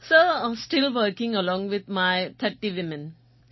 sir still working along with my 30 women